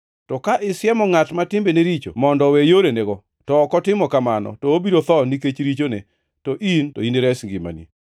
To ka isiemo ngʼat ma timbene richo mondo owe yorenego, to ok otimo kamano, to obiro tho nikech richone, to in to inires ngimani.